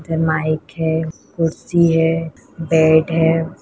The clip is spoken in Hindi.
माइक है कुर्सी है और बेड है।